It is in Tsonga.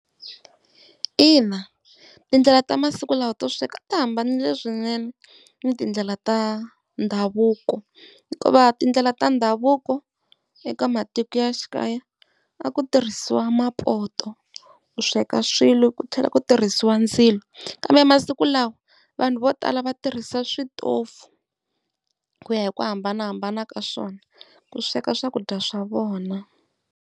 Ina, tindlela tamasiku lawa to sweka ti hambana swinene ni tindlela ta ndhavuko. Hikuva tindlela ta ndhavuko eka matiko ya xikaya a ku tirhisiwa mapoto ku sweka swilo, ku tlhela ku tirhisiwa ndzilo. kambemasiku lawa vanhu vo tala va tirhisa switofu ku ya hi ku hambanahambana ka swona ku sweka swakudya swa vona.